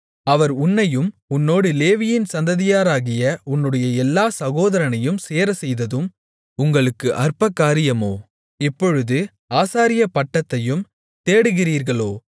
அவர் உன்னையும் உன்னோடு லேவியின் சந்ததியாராகிய உன்னுடைய எல்லாச் சகோதரனையும் சேரச்செய்ததும் உங்களுக்கு அற்பகாரியமோ இப்பொழுது ஆசாரியப்பட்டத்தையும் தேடுகிறீர்களோ